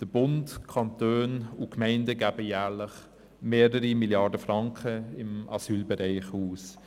Der Bund, die Kantone und die Gemeinden geben jährlich mehrere Milliarden Franken für den Asylbereich aus.